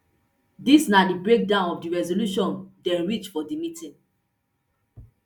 this na di break down of di resolution dem reach for di meeting